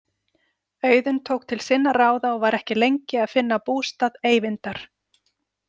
Auðunn tók til sinna ráða og var ekki lengi að finna bústað Eyvindar.